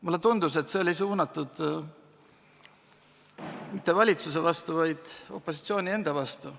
Mulle tundus, et see oli suunatud mitte valitsuse, vaid opositsiooni enda vastu.